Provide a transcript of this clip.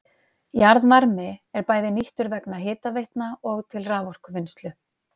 Jarðvarmi er bæði nýttur vegna hitaveitna og til raforkuvinnslu.